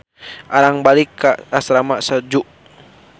Arang balik ka asrama Suju.